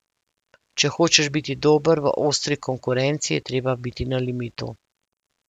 Če hočeš biti dober v ostri konkurenci, je treba biti na limitu.